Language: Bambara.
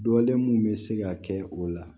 Dɔlen mun bɛ se ka kɛ o la